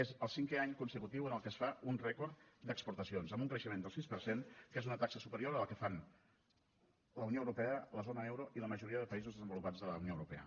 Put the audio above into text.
és el cinquè any consecutiu en què es fa un rècord d’exportacions amb un creixement del sis per cent que és una taxa superior a la que fan la unió europea la zona euro i la majoria de països desenvolupats de la unió europea